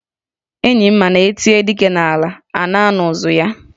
Enyi m ma na e tie dike n'ala, a nụ ụzụ ya.